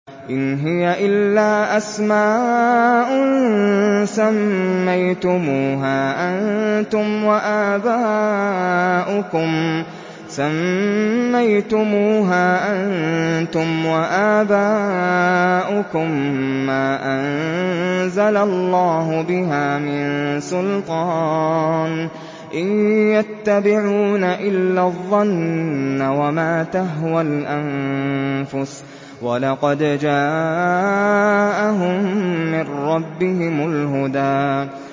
إِنْ هِيَ إِلَّا أَسْمَاءٌ سَمَّيْتُمُوهَا أَنتُمْ وَآبَاؤُكُم مَّا أَنزَلَ اللَّهُ بِهَا مِن سُلْطَانٍ ۚ إِن يَتَّبِعُونَ إِلَّا الظَّنَّ وَمَا تَهْوَى الْأَنفُسُ ۖ وَلَقَدْ جَاءَهُم مِّن رَّبِّهِمُ الْهُدَىٰ